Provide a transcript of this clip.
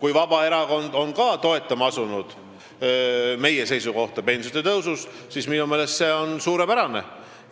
Kui Vabaerakond on ka asunud toetama meie seisukohta pensionide tõusu kohta, siis minu meelest on see suurepärane